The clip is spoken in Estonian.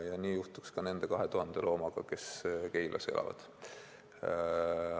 Ja nii juhtuks ka nende 2000 loomaga, kes Keilas elavad.